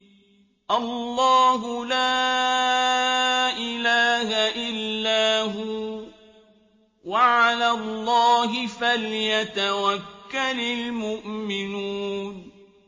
اللَّهُ لَا إِلَٰهَ إِلَّا هُوَ ۚ وَعَلَى اللَّهِ فَلْيَتَوَكَّلِ الْمُؤْمِنُونَ